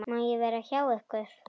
Má ég vera hjá ykkur?